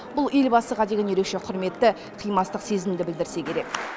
бұл елбасыға деген ерекше құрметті қимастық сезімді білдірсе керек